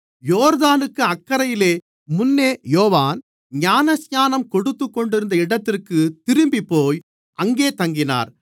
யோர்தானுக்கு அக்கரையிலே முன்னே யோவான் ஞானஸ்நானம் கொடுத்துக்கொண்டிருந்த இடத்திற்குத் திரும்பிப்போய் அங்கே தங்கினார்